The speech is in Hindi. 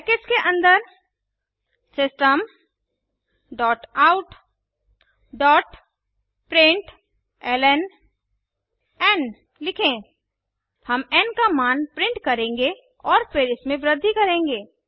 ब्रैकेट्स के अन्दर systemoutप्रिंटलन लिखें हम एन का मान प्रिंट करेंगे और फिर इसमें वृद्धि करेंगे